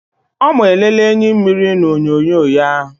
Ọ ma-elele enyimmiri n' onyonyo ya.